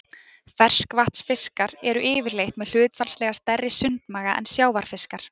Ferskvatnsfiskar eru yfirleitt með hlutfallslega stærri sundmaga en sjávarfiskar.